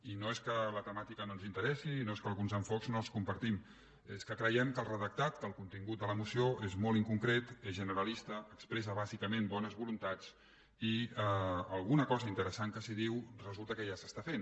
i no és que la temàtica no ens interessi i no és que alguns enfocaments no els compartim és que creiem que el redactat que el contingut de la moció és molt inconcret és generalista expressa bàsicament bones voluntats i alguna cosa interessant que s’hi diu resulta que ja s’està fent